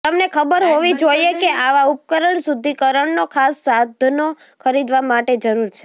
તમને ખબર હોવી જોઈએ કે આવા ઉપકરણ શુદ્ધીકરણનો ખાસ સાધનો ખરીદવા માટે જરૂર છે